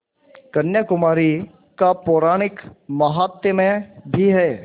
कन्याकुमारी का पौराणिक माहात्म्य भी है